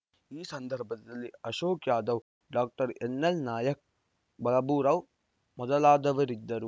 ಈ ಸಂದರ್ಭದಲ್ಲಿ ಅಶೋಕ್‌ ಯಾದವ್‌ ಡಾಎನ್‌ಎಲ್‌ನಾಯಕ್‌ ಬಾಬುರಾವ್‌ ಮೊದಲಾದವರಿದ್ದರು